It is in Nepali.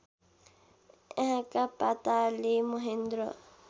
यहाँका पाताले महेन्द्र